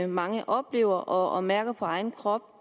mange oplever og mærker på egen krop